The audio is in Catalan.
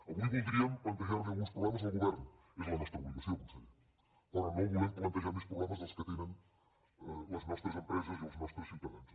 avui voldríem plantejar li alguns problemes al govern és la nostra obligació conseller però no volem plantejar més problemes dels que tenen les nostres empreses i els nostres ciutadans